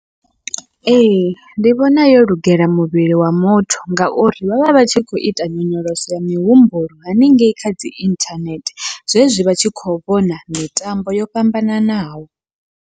Ee, ndi vhona yo lugela muvhili wa muthu ngauri vhavha vhatshi kho ita nyonyoloso ya mihumbulo haningei khadzi inthanethe, zwezwi vha tshi kho vhona mitambo yo fhambananaho.